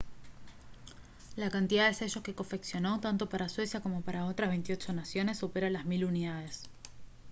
la cantidad de sellos que confeccionó tanto para suecia como para otras 28 naciones supera las mil unidades